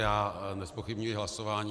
Já nezpochybňuji hlasování.